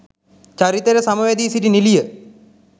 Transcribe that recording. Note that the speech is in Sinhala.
චරිතයට සම වැදී සිටි නිළිය